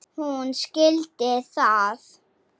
Hún skildi það.